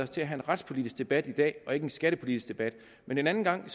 til at have en retspolitisk debat i dag ikke en skattepolitisk debat men en anden gang